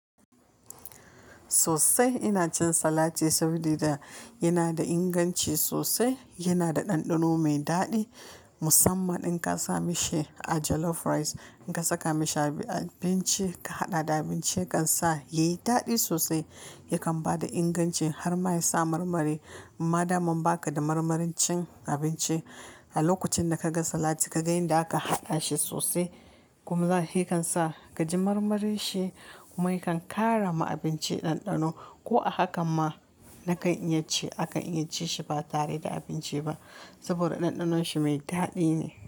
Sosai ina cin salati saboda yana da inganci sosai, yana da ɗanɗano mai daɗi. Musamman in ka sa mishi a jollof rice, in ka saka mishi a abinci ka haɗa da abinci kan sa yi daɗi sosai. Yakan ba da inganci har ma ya sa marmari. Ma dama ba ka da marmarin cin abinci, a lokacin da ka ga salati ka ga yanda aka haɗa shi sosai kuma he kan sa ka ji marmarin shi kuma ya kan ƙara ma abinci ɗanɗano. Ko a haka ma nakan iya ci, aka iya ci shi ba tare da abinci ba saboda ɗanɗanon shi mai daɗi ne.